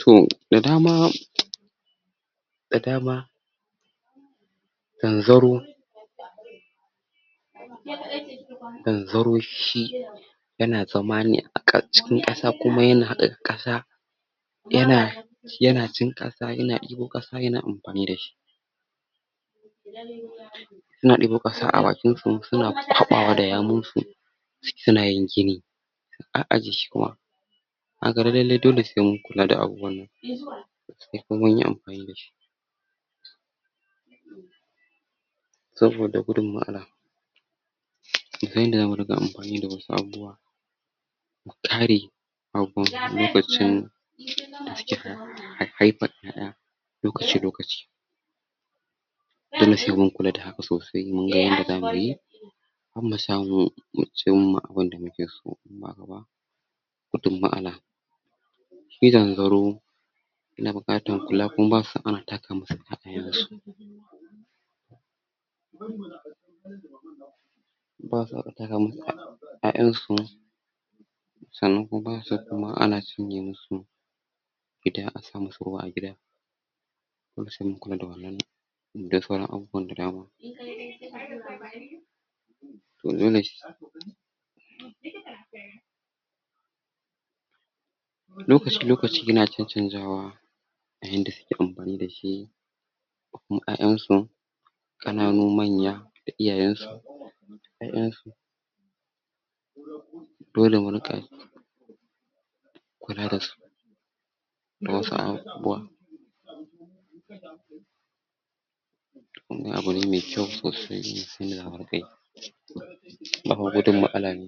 to da dama da dama zanzaro zanzaro shi yana zamne ka cikin ƙasa kuma yana haɗa kasa yana shi yana cin ƙasa yana ibo ƙasa yana anfani da shi suna ibo ƙasa abakinsu suna kwabawa da yawunsu ciki sunayin gini suka ajiye shi kuma kaga lallai dai se mun kula da abubuwanna se munyi anfani da saboda gudun matasala mu san yanda zamu dinga anfani da wasu abubuwa mukare abubuwa lokacin hai haifa ƴaƴa lokaci lokaci dole se mun kula da haka sosai mun ga yanda zamuyi han musamu mu cinma abun da muke so wato ma'ana shi zanzaro yana bukatan kula kuma basu so ana taka musu ƴaƴansu basu so ataka musu ƴaƴansu sanan kuma basu kuma ana sinye musu ida asamusu ruwa agida dole se mun kula da wanan da sauran abubuwan da dama domin wananzai sa lokaci lokaci na can canzawa ayanda suke anfani da shi ko kuma yayansu kananu manya da iyayensu dole murika kula dasu dawasu a bua wanan abune me kyau sosai musan yanda zamu rika yi da gudun matsala ne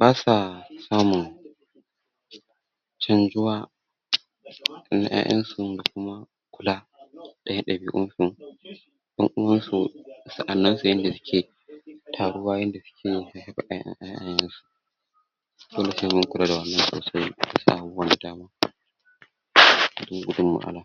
basa samun canjuwa na yayansu da kuma daya dabiun su yan'uwansu sanaensu yanda suke taruwa yanda suke zuba yayayensu dole se mun kua da wanan sosai da wasu abubuwa da dama